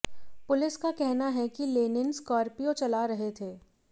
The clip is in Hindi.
पुलिस का कहना है कि लेनिन स्कार्पियो चला रहे थे